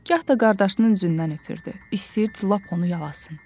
Gah da qardaşının üzündən öpürdü, istəyirdi lap onu yalasın.